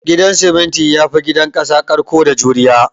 Gidan siminti yafi gidan kasa karko da juriya